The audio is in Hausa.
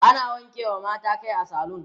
ana wanke mata Kai a saloon